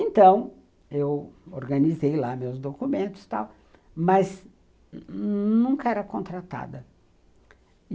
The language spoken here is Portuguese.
Então, eu organizei lá meus documentos tal, mas nunca era contratada.